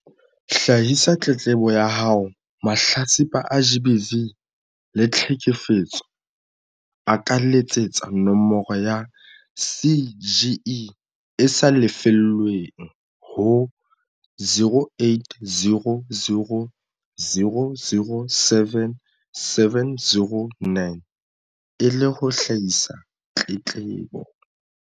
Hlahisa tletlebo ya haoMahlatsipa a GBV le tlheke fetso a ka letsetsa nomoro ya CGE e sa lefellweng ho 0800 007 709 e le ho hlahisa tletlebo.